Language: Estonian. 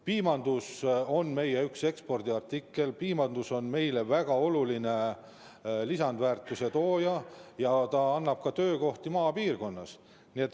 Piim on meie üks ekspordiartikleid, piimandus on meile väga oluline lisandväärtuse looja ja ta loob ka töökohti maapiirkonnas.